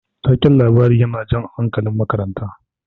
Taken labari yana jan hankalin makaranta.